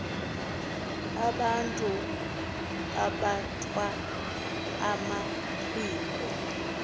abantu abathwal amaphiko